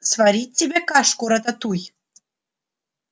сварить тебе кашку-рататуй